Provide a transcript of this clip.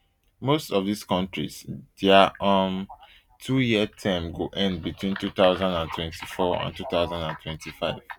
most of dis kontris dia um twoyear term go end between two thousand and twenty-four and two thousand and twenty-five